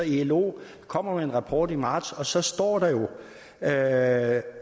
ilo kommer med en rapport i marts og så står der jo at